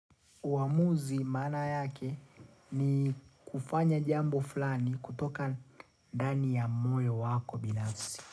Uamuzi maana yake ni kufanya jambo fulani kutoka ndani ya moyo wako binafsi.